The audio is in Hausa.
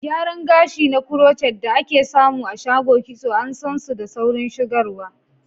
Gyaran gashi na crochet, da ake samu a shago kitso, an san su da saurin shigarwa.